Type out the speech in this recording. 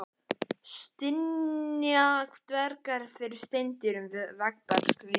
Stynja dvergar fyrir steindyrum, veggbergs vísir.